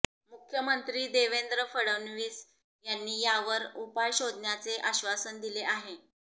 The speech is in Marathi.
मुख्यमंत्री देवेंद्र फडणवीस यांनी यावर उपाय शोधण्याचे आश्वासन दिले आहे